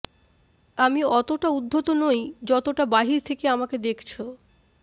আমি অতোটা উদ্ধত নই যতোটা বাহির থেকে আমাকে দেখছো